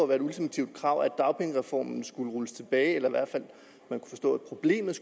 et ultimativt krav at dagpengereformen skulle rulles tilbage eller i hvert fald